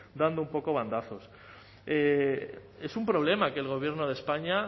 dando un poco bandazos es un problema que el gobierno de españa